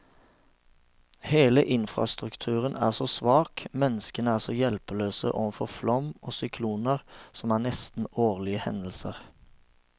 Hele infrastrukturen er så svak, menneskene er så hjelpeløse overfor flom og sykloner, som er nesten årlige hendelser.